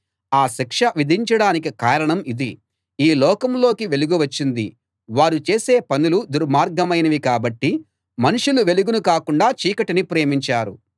ఆ శిక్ష విధించడానికి కారణం ఇది ఈ లోకంలోకి వెలుగు వచ్చింది వారు చేసే పనులు దుర్మార్గమైనవి కాబట్టి మనుషులు వెలుగును కాకుండా చీకటిని ప్రేమించారు